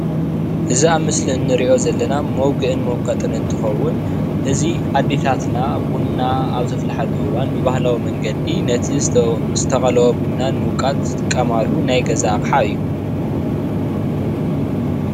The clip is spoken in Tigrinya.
እዙይ ኣብ ምስሊ እንሪእዮ ዘለና መጉእን መውቀጢ እንትከውን እዙይ ኣዴታትና ቡና ኣብ ዘፍላሕሉ እዋን ብባህላዊ መንገዲ ነቲ ዝተቆለወ ቡና ንመውቃጥ ዝጥቀማሉ ናይ ገዛ ኣቕሓ እዩ።